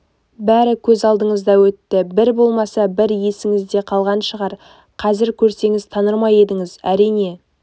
бәрі көз алдыңызда өтті бір болмаса бір есіңізде қалған шығар қазір көрсеңіз таныр ма едіңіз әрине